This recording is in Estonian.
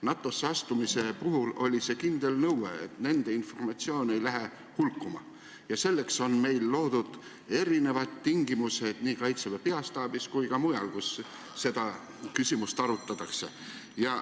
NATO-sse astumise puhul oli kindel nõue, et nende informatsioon ei läheks hulkuma, ja selleks on meil loodud tingimused nii Kaitseväe peastaabis kui ka mujal, kus seda küsimust arutatakse.